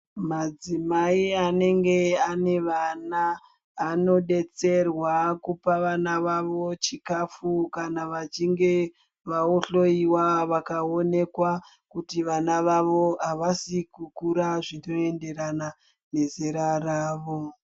Madzimai anenge anevana anodetserwa kupa vana vavo chikafu kana vachinge vahloyiwa vakaonekwa kuti vana vavo avasi kukura zvinoenderana nezera ravo.